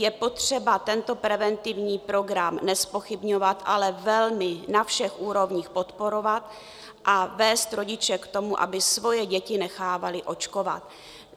Je potřeba tento preventivní program nezpochybňovat, ale velmi na všech úrovních podporovat a vést rodiče k tomu, aby svoje děti nechávali očkovat.